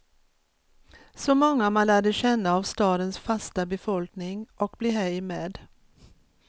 Så många man lärde känna av stadens fasta befolkning, och blev hej med.